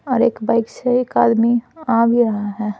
और एक बाइक से एक आदमी आ भी रहा है।